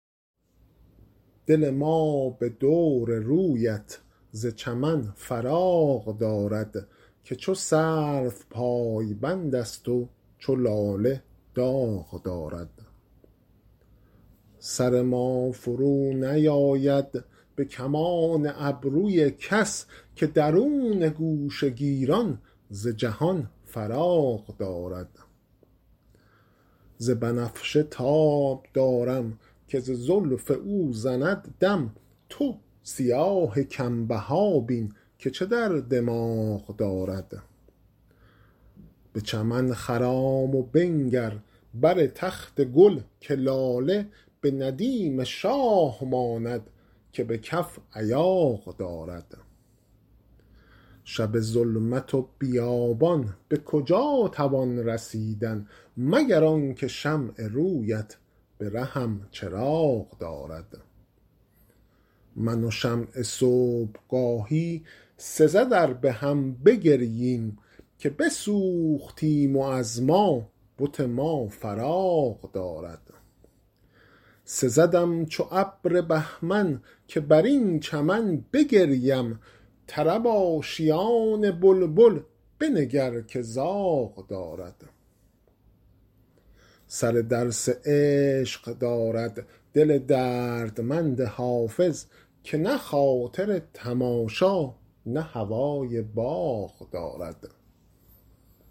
دل ما به دور رویت ز چمن فراغ دارد که چو سرو پایبند است و چو لاله داغ دارد سر ما فرونیآید به کمان ابروی کس که درون گوشه گیران ز جهان فراغ دارد ز بنفشه تاب دارم که ز زلف او زند دم تو سیاه کم بها بین که چه در دماغ دارد به چمن خرام و بنگر بر تخت گل که لاله به ندیم شاه ماند که به کف ایاغ دارد شب ظلمت و بیابان به کجا توان رسیدن مگر آن که شمع روی ات به رهم چراغ دارد من و شمع صبح گاهی سزد ار به هم بگرییم که بسوختیم و از ما بت ما فراغ دارد سزدم چو ابر بهمن که بر این چمن بگریم طرب آشیان بلبل بنگر که زاغ دارد سر درس عشق دارد دل دردمند حافظ که نه خاطر تماشا نه هوای باغ دارد